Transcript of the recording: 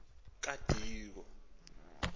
kadiko